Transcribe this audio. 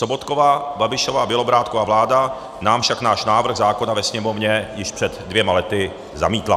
Sobotkova, Babišova, Bělobrádkova vláda nám však náš návrh zákona ve Sněmovně již před dvěma lety zamítla.